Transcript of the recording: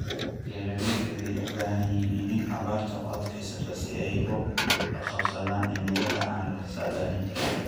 Beeralaydu waxay u baahan yihiin iniin abaarta u adkaysta si ay ula qabsadaan cimilada aan la saadaalin karin.